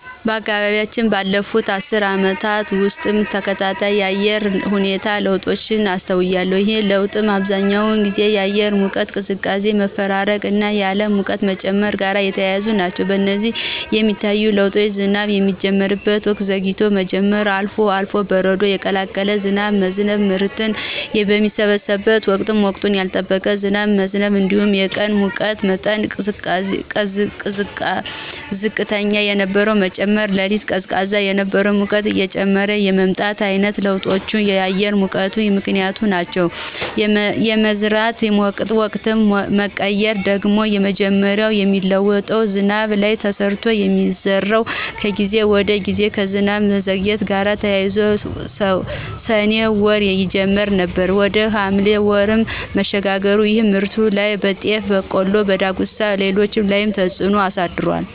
በአካባቢያችን ባለፉት አስርት ዓመታት ውስጥ ተከታታይ የአየር ሁኔታ ለውጦችን አስተውያለሁ። ይህ ለውጥ በአብዛኛው ጊዜ የአየር ሙቀትና ቅዝቃዜ መፈራረቅና የዓለም ሙቀት መጨመር ጋር የተያያዙ ናቸው። በዚህም የሚታዩ ለውጦች ዝናብ የሚጀምርበት ወቅት ዘግይቶ መጀመር፣ አልፎ አልፎም በረዶ የቀላቀለ ዝናብ መዝነብ፣ ምርት በሚሰበሰብበት ወቅት ወቅቱን ያልጠበቀ ዝናብ መዝነብ እንዲሁም የቀን የሙቀት መጠን ዝቅተኛ የነበረው መጨመር፣ በሌሊት ቀዝቃዛ የነበረው ሙቀት እየጨመረ የመምጣት ዓይነት ለውጦች የአየሩን መቀየር የሚያመለክቱ ምክንያቶች ናቸው። የመዝራት ወቅት መቀየር ደግሞ መጀመሪያ በሚጥለው ዝናብ ላይ ተመስርቶ ስለሚዘራ ከጊዜ ወደ ጊዜ ከዝናብ መዘግየት ጋር ተያይዞ ሰኔ ወር ይጀመር የነበረው ወደ ሐምሌ ወር መሸጋገር ይህም በምርቱ ላይ (በጤፍ፣ በቆሎ፣ በዳጉሳና በሌሎችም) ላይ ተፅዕኖ አሳድሯል።